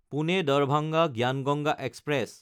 পুনে–দাৰভাঙা জ্ঞান গংগা এক্সপ্ৰেছ